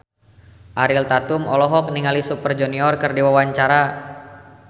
Ariel Tatum olohok ningali Super Junior keur diwawancara